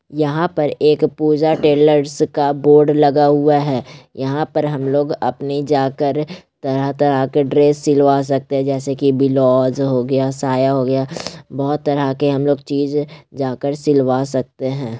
यह पर एक पूजा टेलर्स का बोर्ड लगा हुआ है। यहाँ पर हमलोग अपनी जाकर तरह-तरह के ड्रेस सिलवा सकते है जैसे के बिलोज हो गया साया हो गया बहुत तरह के हम लोग चीज जाकर सिलवा सकते है।